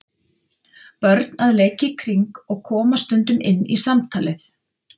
Börn að leik í kring og koma stundum inn í samtalið.